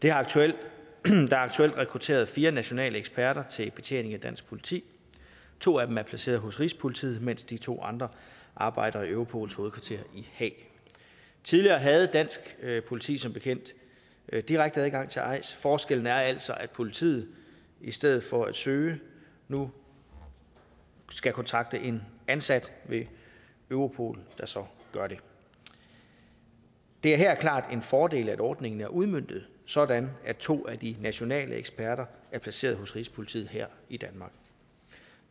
er aktuelt rekrutteret fire nationale eksperter til betjening af dansk politi to af dem er placeret hos rigspolitiet mens de to andre arbejder i europols hovedkvarter i haag tidligere havde dansk politi som bekendt direkte adgang til eis forskellen er altså at politiet i stedet for at søge nu skal kontakte en ansat ved europol der så gør det det er her klart en fordel at ordningen er udmøntet sådan at to af de nationale eksperter er placeret hos rigspolitiet her i danmark